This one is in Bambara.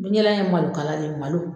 Bin jalan in ye malo kala de ye malo.